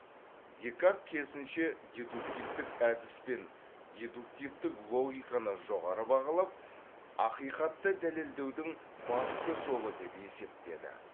декарт керісінше дедуктивтік әдіс пен дедуктивтік логиканы жоғары бағалап ақиқатты дәлелдеудің басты жолы деп есептеді